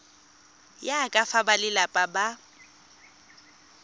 ya ka fa balelapa ba